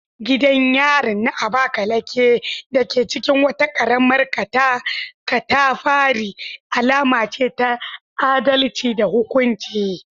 Gidan yarin na Abakaleke, dake cikin wata karamar katafari, alama ce ta adalci da hukunci.